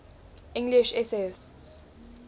english essayists